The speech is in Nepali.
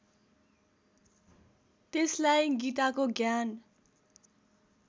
त्यसलाई गीताको ज्ञान